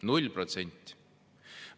0%!